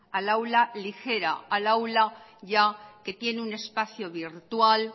al aula ligera al aula ya que tiene un espacio virtual